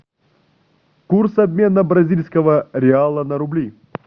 курс обмена бразильского реала на рубли